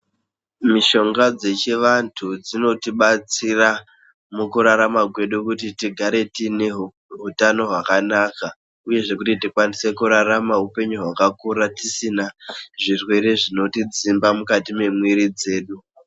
Mishonga dzechivantu dzinotibatsira mukurarama kwedu kuti tigare tiine hutano hwakanaka, uyezve kuti tikwanise kurarama upenyu hwakakura tisina zvirwere zvinotidzimba mukati mwemwiri dzedu.